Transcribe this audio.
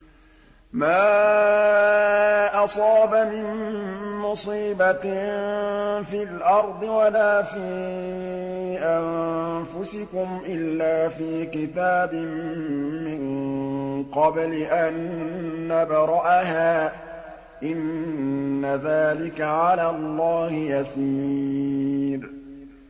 مَا أَصَابَ مِن مُّصِيبَةٍ فِي الْأَرْضِ وَلَا فِي أَنفُسِكُمْ إِلَّا فِي كِتَابٍ مِّن قَبْلِ أَن نَّبْرَأَهَا ۚ إِنَّ ذَٰلِكَ عَلَى اللَّهِ يَسِيرٌ